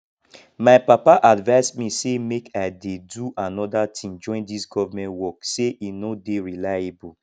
my papa advise me say make i dey do another thing join dis government work say e no dey reliable